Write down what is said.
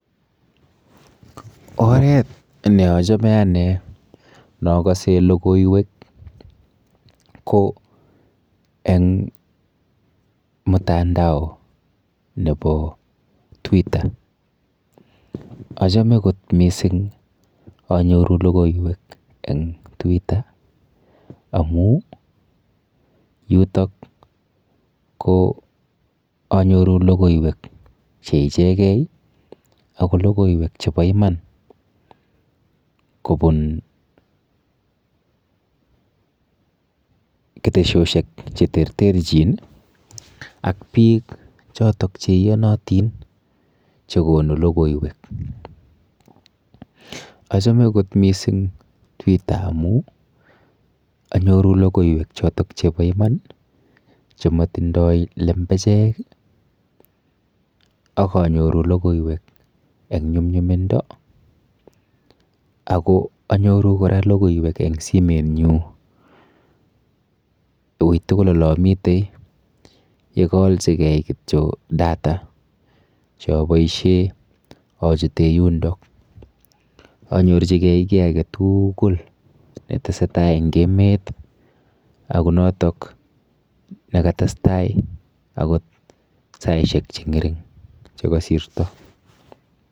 Oret neachome ane nokase lokoiwek ko eng mutandao nebo Twitter achame kot mising anyoru lokoiwek en twitter amu yutok ko anyoru lokoiwek che ichekei ako lokoiwek chebo iman kobun keteshoshek che ter ter chin ak biik choton cheiyonotin chekonu lokoiwek achame kot mising twitter amu anyoru lokoiwek choto chebo iman chematindoi lembechek akanyoru lokoiwek eng nyumnyumindo ako anyoru kora lokoiwek eng simetnyu ui tukul olea mitei yekaalchikei kityo data choboisie achute yundo anyorchigei kiy age tugul netesetai eng emet akot notok nekatestai akot saishek chengering chekasirto